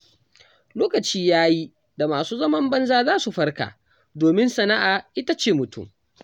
Lokaci ya yi da masu zaman banza za su farka, domin sana'a ita ce mutum.